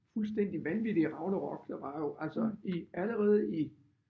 Fuldstændig vanvittige ragnarok der var jo altså i allerede i